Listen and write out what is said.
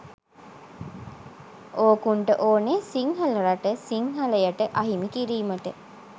ඕකුන්ට ඕනේ “සිංහල රට සිංහලයට අහිමි කිරීමට”.